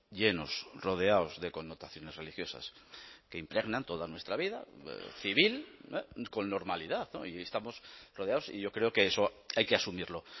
llenos rodeados de connotaciones religiosas que impregnan toda nuestra vida civil con normalidad y estamos rodeados y yo creo que eso hay que asumirlo